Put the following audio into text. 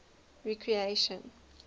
recreation